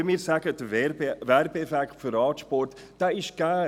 Wenn wir sagen, der Werbeeffekt für Radsport … Dieser ist gegeben.